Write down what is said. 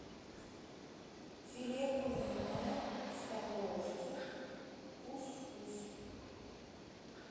филе куриное в подложке кус вкус